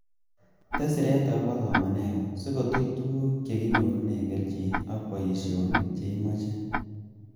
Tes siret agobo somenengung si kotuch tuguk che kinyorunen kelchin ak boisionik che imoche